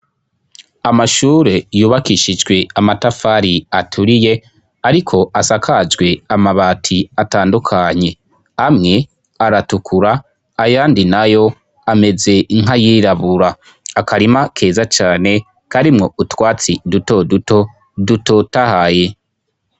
Amashure yubakishijwe amatafari aturiye, ariko asakajwe amabati atandukanye amwe aratukura ayandi na yo ameze nkayirabura, akarima keza cane karimwo utwatsi duto duto dutotahaye.